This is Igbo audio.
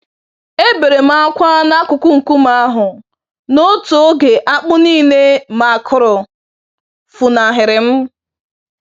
Eberem ákwà n'akụkụ nkume ahụ, n'otu oge akpụ nílé ma kụrụ, funahịrịm